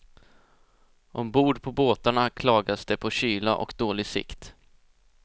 Ombord på båtarna klagas det på kyla och dålig sikt.